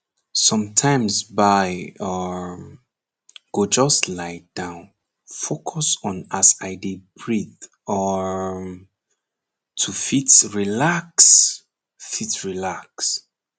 sometimes bai um go just lie down focus on as i dey breathe um to fit relax fit relax